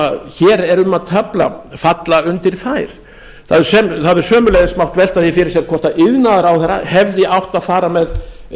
hér er um að tefla falla undir þær það hefði sömuleiðis mátt velta því fyrir sér hvort iðnaðarráðherra hefði átt að fara með